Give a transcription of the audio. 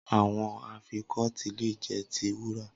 Awọn afikọti le jẹ ti wura